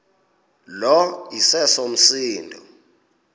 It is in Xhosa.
lo iseso msindo